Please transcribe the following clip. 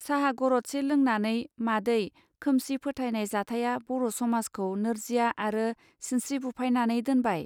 साहा गरदसे लोंनानै मादै खोमसि फोथायनाय जाथाया बर' समाजखौ नोरजिया आरो सिनस्त्रि बुफायनानै दोनबाय.